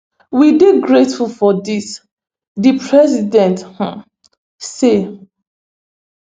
we dey grateful for dis di president um say